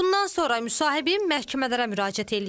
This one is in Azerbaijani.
Bundan sonra müsahibim məhkəmələrə müraciət eləyib.